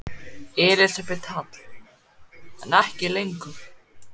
Elísabet Hall: En ekki lengur?